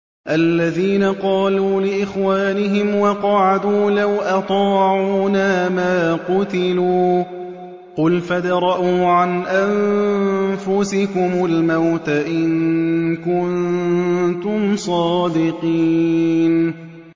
الَّذِينَ قَالُوا لِإِخْوَانِهِمْ وَقَعَدُوا لَوْ أَطَاعُونَا مَا قُتِلُوا ۗ قُلْ فَادْرَءُوا عَنْ أَنفُسِكُمُ الْمَوْتَ إِن كُنتُمْ صَادِقِينَ